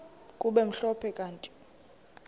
kube mhlophe kanti